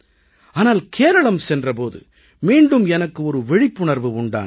ஆனால் கேரளம் சென்ற போது மீண்டும் எனக்கு ஒரு விழிப்புணர்வு உண்டானது